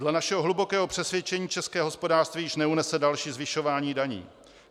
Dle našeho hlubokého přesvědčení české hospodářství již neunese další zvyšování daní.